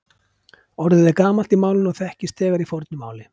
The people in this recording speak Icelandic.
Orðið er gamalt í málinu og þekkist þegar í fornu máli.